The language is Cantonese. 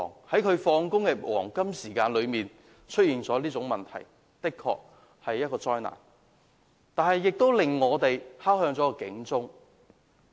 在下班的黃金時間內出現這種事故，實在是一場災難，亦敲響了警鐘。